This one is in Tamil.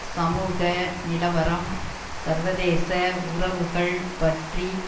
சமூக நிலவரம் சர்வதேச உறவுகள் பற்றி